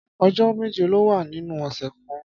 Ọjọ méjé ló wà ninú ọsẹ kàn